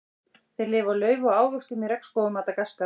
Þeir lifa á laufi og ávöxtum í regnskógum Madagaskar.